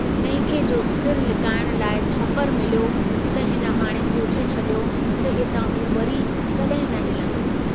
तंहिंखे जो सिरु लिकाइण लाइ छपरु मिलियो त हिन हाणे सोचे छड़ियो त हितां हू वरी कॾहिं न हिलंदो।